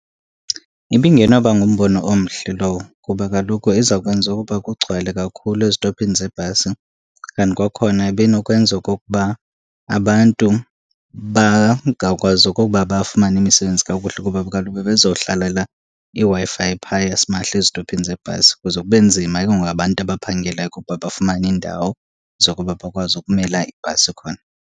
Ibingenawuba ngumbono omhle lowo kuba kaloku iza kwenza ukuba kugcwale kakhulu ezitophini zebhasi. And kwakhona ibinokwenza okokuba abantu bangakwazi okokuba bafumane imisebenzi kakuhle kuba kaloku bebezohlalela iWi-Fi phaa yasimahla ezitophini zebhasi kuze kube nzima ke ngoku abantu abaphangelayo okokuba bafumane iindawo zokuba bakwazi ukumela ibhasi khona.